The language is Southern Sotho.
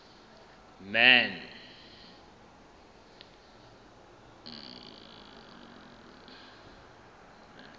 man